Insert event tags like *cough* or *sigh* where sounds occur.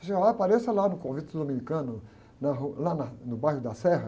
Ele disse, ah, apareça lá no convento dominicano, na ru, lá na, no bairro da *unintelligible*